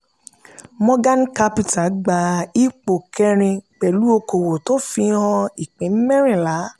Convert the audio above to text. morgan capital gba ipò kẹ́rin pẹ̀lú okòwò tó fi hàn ìpín mẹ́rinlá.